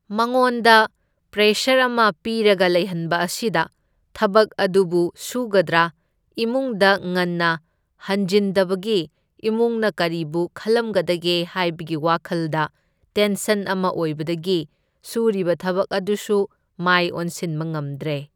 ꯃꯉꯣꯟꯗ ꯄ꯭ꯔꯦꯁꯔ ꯑꯃ ꯄꯤꯔꯒ ꯂꯩꯍꯟꯕ ꯑꯁꯤꯗ ꯊꯕꯛ ꯑꯗꯨꯕꯨ ꯁꯨꯒꯗꯔꯥ, ꯏꯃꯨꯡꯗ ꯉꯟꯅ ꯍꯟꯖꯤꯟꯗꯕꯒꯤ ꯏꯃꯨꯡꯅ ꯀꯔꯤꯕꯨ ꯈꯜꯂꯝꯒꯗꯒꯦ ꯍꯥꯏꯕꯒꯤ ꯋꯥꯈꯜꯗ ꯇꯦꯟꯁꯟ ꯑꯃ ꯑꯣꯏꯕꯗꯒꯤ ꯁꯨꯔꯤꯕ ꯊꯕꯛ ꯑꯗꯨꯁꯨ ꯃꯥꯏ ꯑꯣꯟꯁꯤꯟꯕ ꯉꯝꯗ꯭ꯔꯦ꯫